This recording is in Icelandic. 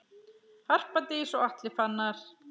Harpa Dís og Atli Fannar.